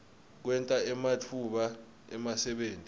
kwenta ematfuba emsebenti